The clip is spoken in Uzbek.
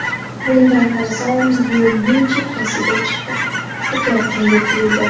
Bunday qarasam yo‘lning chekkasiga chiqib ketayotgandek tuyuldi.